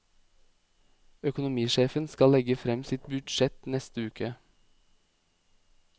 Økonomisjefen skal legge frem sitt budsjett neste uke.